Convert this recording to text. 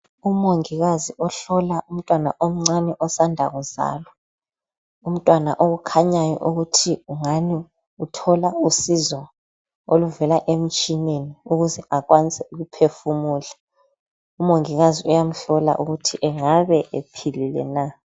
Umongikazi ohlola umntwana omncane osanda kuzalwa. Umntwana okukhanyayo ukuthi ungani uthola usizo oluvela emtshineni ukuze akwanise ukuphefumula. Umongikazi uyamhlola ukuthi engabe ephilile na.